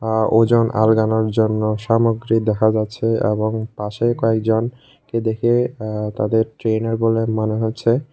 আর ওজন আলগানোর জন্য সামগ্রী দেখা যাচ্ছে এবং পাশে কয়েকজন কে দেখে আ্য তাদের ট্রেনার বলে মনে হচ্ছে।